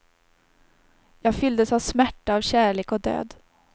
Jag fylldes av smärta, av kärlek och död.